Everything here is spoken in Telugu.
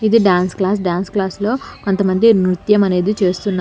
ఇది డాన్స్ క్లాస్ డాన్స్ క్లాస్ లో కొంత మంది నృత్యం అనేది చేస్తున్నా--